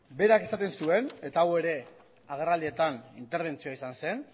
berak esaten zuen eta hau ere agerraldietan interbentzioa izan zen